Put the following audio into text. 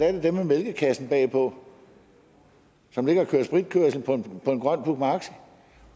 er det dem med mælkekassen bagpå som ligger og kører spritkørsel på en grøn puch maxi